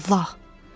Maman Allah!